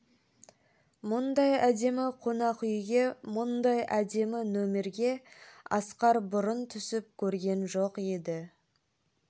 мұндай әдемі қонақ үйге мұндай әдемі нөмерге асқар бұрын түсіп көрген жоқ еді